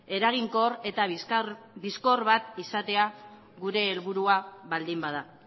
eraginkor eta bizkor bat izatea gure helburua baldin bada